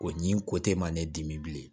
O ɲi ko te ma ne dimi bilen